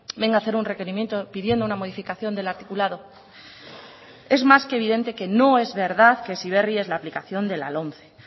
venga hacer un requerimiento pidiendo una modificación del articulado es más que evidente que no es verdad que heziberri es la aplicación de la lomce